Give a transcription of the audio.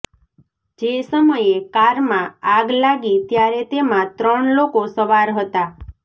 જે સમયે કારમાં આગ લાગી ત્યારે તેમાં ત્રણ લોકો સવાર હતા